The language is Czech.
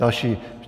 Další.